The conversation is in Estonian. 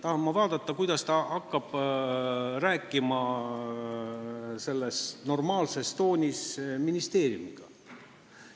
Ma tahan näha, kuidas ta hakkab sellises normaalses toonis ministeeriumiga rääkima!